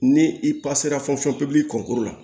Ni i pasera kɔnkuru la